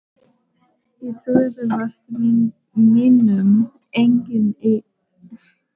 Ég trúði vart mínum eigin augum og fylltist bjartsýni.